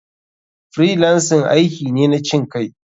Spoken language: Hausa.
Freelancing aiki ne na cinkai.